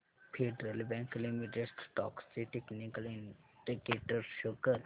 federal bank limited stocks चे technical indicators show कर